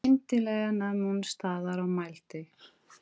Skyndilega nam hún staðar og mælti